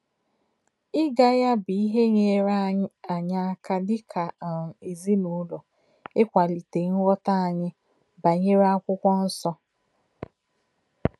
Ịga ya bụ ihe nyeere anyị aka dịka um ezinụlọ ịkwalite nghọta anyị banyere Akwụkwọ Nsọ.